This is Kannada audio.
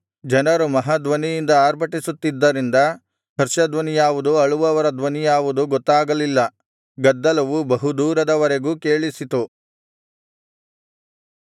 ಜನರು ಮಹಾಧ್ವನಿಯಿಂದ ಅರ್ಭಟಿಸುತ್ತಿದ್ದರಿಂದ ಹರ್ಷಧ್ವನಿ ಯಾವುದು ಅಳುವವರ ಧ್ವನಿ ಯಾವುದು ಗೊತ್ತಾಗಲಿಲ್ಲ ಗದ್ದಲವು ಬಹುದೂರದ ವರೆಗೂ ಕೇಳಿಸಿತು